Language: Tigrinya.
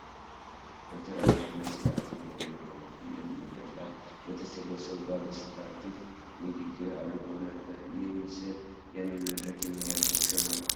ዶክተር ኣብዪ ኣሕመድ ስለ ኣቶ ደመቀ መኮነን መድረክ ላይ በተሰበሱቡ ባለስልጣናት ፊት ንግግር ኣድርገው ነበር፡፡ ይህ ምስል ያንን መድረክ የሚያዘክር ነው፡፡